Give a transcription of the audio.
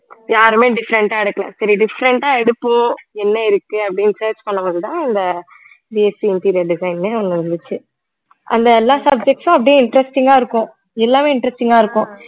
யாருமே different ஆ எடுக்கலை சரி different ஆ எடுப்போம் என்ன இருக்கு அப்படின்னு search பண்ணும் போதுதான் இந்த interior design ன்னு ஒண்ணு இருந்துச்சு அந்த எல்லா subjects உம் அப்படியே interesting ஆ இருக்கும் எல்லாமே interesting ஆ இருக்கும்